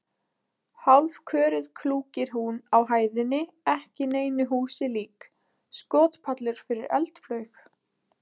Hálfköruð klúkir hún á hæðinni ekki neinu húsi lík: skotpallur fyrir eldflaug?